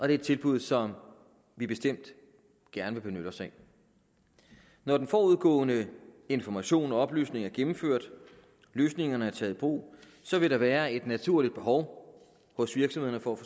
er et tilbud som vi bestemt gerne vil benytte os af når den forudgående information og oplysning er gennemført og løsningerne er taget i brug vil der være et naturligt behov hos virksomhederne for